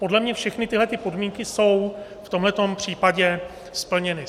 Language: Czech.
Podle mě všechny tyhlety podmínky jsou v tomto případě splněny.